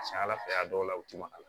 Ka ca ala fɛ a dɔw la u ti maga a la